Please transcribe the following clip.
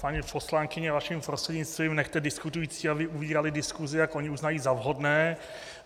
Paní poslankyně, vaším prostřednictvím, nechte diskutující, aby ubírali diskusi, jak oni uznají na vhodné.